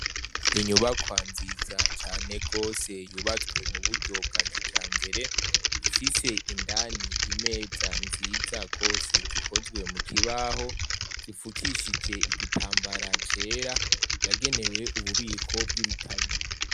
Inyubakwa nziza cane gose yubatswe mu buryo bwa kijambere, ifise indani imeza nziza gose zikozwe mu kibaho zifukishije igitambara cera yagenewe ububiko bw'ibitabo.